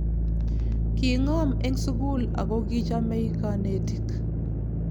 kingom eng sukul ako kichamei kanetik